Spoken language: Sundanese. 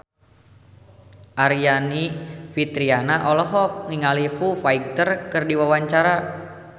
Aryani Fitriana olohok ningali Foo Fighter keur diwawancara